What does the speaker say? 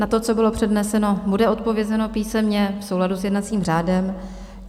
Na to, co bylo předneseno, bude odpovězeno písemně v souladu s jednacím řádem.